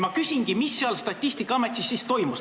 Ma küsingi: mis seal Statistikaametis siis toimus?